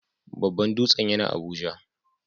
Babban dutsen yana Abuja.